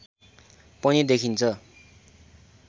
पनि देखिन्छ